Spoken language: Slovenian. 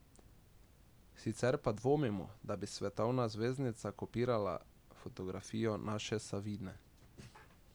Sicer pa dvomimo, da bi svetovna zvezdnica kopirala fotografijo naše Savine ...